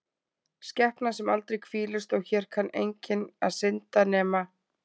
skepna sem aldrei hvílist og hér kann enginn að synda, nema